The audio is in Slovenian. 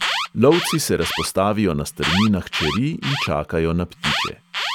Lovci se razpostavijo na strminah čeri in čakajo na ptiče.